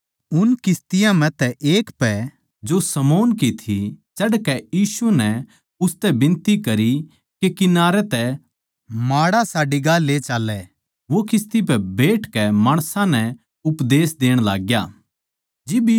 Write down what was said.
उन किस्तियाँ म्ह तै एक पै जो शमौन की थी चढ़कै यीशु नै उसतै बिनती करी के किनारै तै माड़ा सा डिगा ले चाल्लै फेर वो किस्ती पै बैठकै माणसां नै उपदेश देण लागग्या